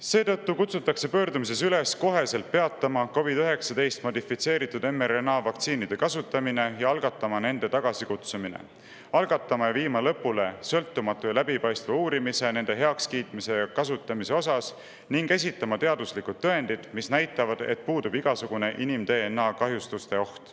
Seetõttu kutsutakse pöördumises üles koheselt peatama COVID-19 modifitseeritud mRNA vaktsiinide kasutamine ja algatama nende tagasikutsumine; algatama ja viima lõpule sõltumatu ja läbipaistev uurimine nende heakskiitmise ja kasutamise kohta ning esitama teaduslikud tõendid, mis näitavad, et puudub igasugune inim-DNA kahjustuste oht.